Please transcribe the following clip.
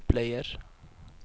bleier